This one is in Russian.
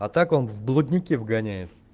а так он в блудники вгоняет